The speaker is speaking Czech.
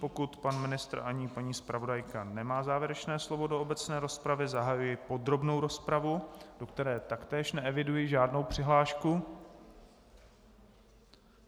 Pokud pan ministr ani paní zpravodajka nemají závěrečné slovo do obecné rozpravy, zahajuji podrobnou rozpravu, do které taktéž neeviduji žádnou přihlášku.